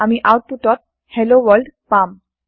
আমি আওতপুত ত hello world পাম